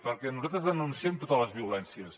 perquè nosaltres denunciem totes les violències